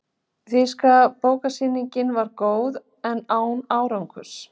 Þýska bókasýningin var góð, en árangurslaus.